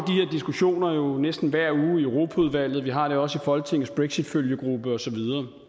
diskussioner næsten hver uge i europaudvalget vi har det også i folketingets brexitfølgegruppe og så videre